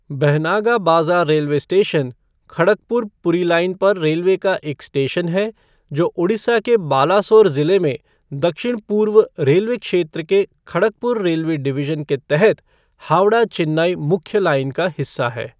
Bahanaga Bazar railway station, Kharagpur Puri line पर railway का एक स्टेशन है, जो उड़ीसा के बालासोर ज़िले में दक्षिण पूर्व रेलवे क्षेत्र के खड़गपुर रेलवे डिविजन के तहत हावड़ा चेन्नई मुख्य लाइन का हिस्सा है।